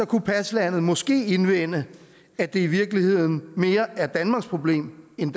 kunne paslandet måske indvende at det i virkeligheden mere er danmarks problem end